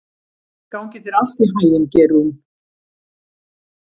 Gangi þér allt í haginn, Geirrún.